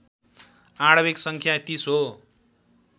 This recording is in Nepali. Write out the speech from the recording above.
आणविक सङ्ख्या ३० हो